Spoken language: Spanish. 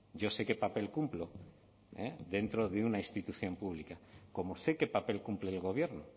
yo sé qué papel cumplo dentro de una institución pública como sé qué papel cumple el gobierno